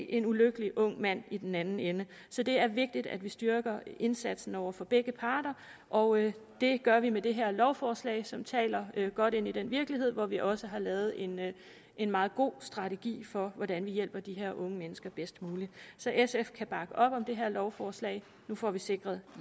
en ulykkelig ung mand i den anden ende så det er vigtigt at vi styrker indsatsen over for begge parter og det gør vi med det her lovforslag som taler godt ind i den virkelighed hvor vi også har lavet en en meget god strategi for hvordan vi hjælper de her unge mennesker bedst muligt så sf kan bakke op om det her lovforslag nu får vi sikret